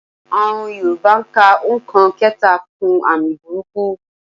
Àọn yorùbá ka òǹkà kẹta kún àmì burúkú.